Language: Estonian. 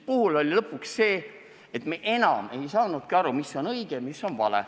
Lõpuks aga me enam ei saanudki aru, mis on õige ja mis on vale.